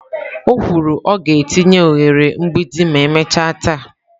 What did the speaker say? O kwuru " ọ ga-etinye oghere mgbidi ma emechaa taa."